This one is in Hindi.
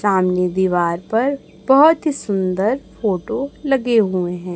चांदनी दीवार पर बहोत हि सुंदर फोटो लगे हुए हैं।